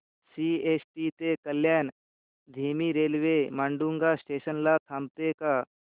CST ते कल्याण धीमी railway Matunga station ला थांबते का